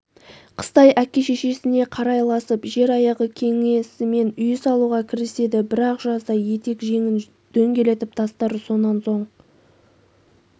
қыстай әке-шешесіне қарайласып жер аяғы кеңісімен үй салуға кіріседі бір-ақ жазда етек-жеңін дөңгелетіп тастар сонан соң